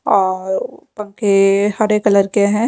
और हरे कलर के हैं।